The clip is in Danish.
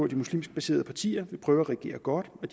de muslimsk baserede partier vil prøve at regere godt og